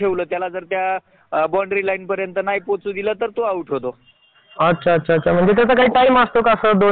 त्यामधे काही शेती व्यवसाय करणारे काही किराणा दुकानात काम करणारे